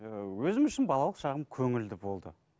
ыыы өзім үшін балалық шағым көңілді болды